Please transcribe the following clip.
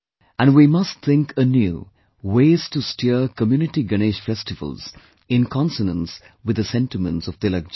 And we must think anew ways to steer Community Ganesh Festivals in consonance with the sentiments of Tilak ji